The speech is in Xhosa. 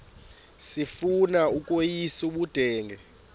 sifuna ukweyis ubudenge